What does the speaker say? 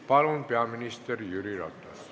Palun, peaminister Jüri Ratas!